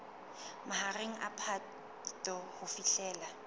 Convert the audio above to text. mahareng a phato ho fihlela